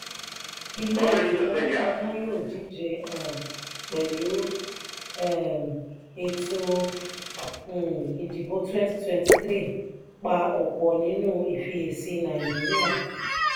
ilé ìfowópamọ́ yíò dije um pẹlu um ètò um ìdìbò twenty twenty three pa ọpọ nínú ifiyesi nàìjíríà.